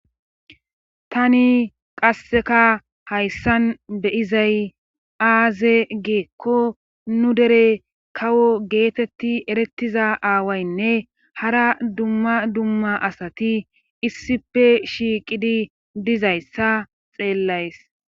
Tani qasseka hayssan beyizay aaze giikko nu dere kawo geetetti erettiza aawaynne hara dumma dumma asati issippe shiiqidi diza issa xeellays.